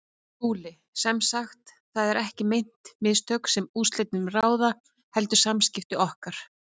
SKÚLI: Sem sagt: það eru ekki meint mistök, sem úrslitum ráða, heldur samskipti okkar?